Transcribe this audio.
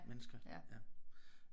Mennesker ja